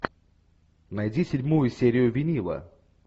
найди седьмую серию винила